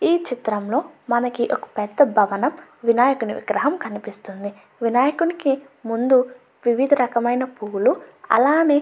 ఈ చిత్రం లో మనకి ఒక పెద్ద భవనం వినాయకుని విగ్రహం కనిపిస్తుంది. వినాయకునికి ముందూ వివిధ రకమ ఆయన పోవుల్లు అలానే --